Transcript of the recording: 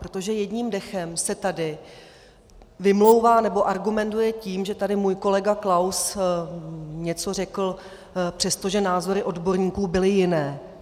Protože jedním dechem se tady vymlouvá, nebo argumentuje tím, že tady můj kolega Klaus něco řekl, přestože názory odborníků byly jiné.